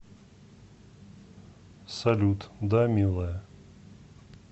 салют да милая